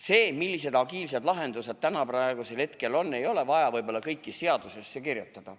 Seda, millised agiilsed lahendused täna, praegusel hetkel on, ei ole vaja võib-olla kõike seadusesse kirjutada.